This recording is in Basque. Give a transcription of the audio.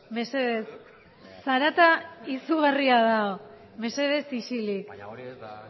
mesedez zarata izugarria dago mesedez isilik baina hori ez da